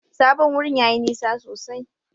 Sabon wurin yayi nisa sosai.